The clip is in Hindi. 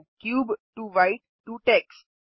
cube to white to takes